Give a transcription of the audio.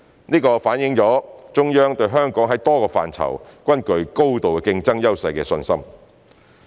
這反映中央對香港在多個範疇均具高度競爭優勢的信心。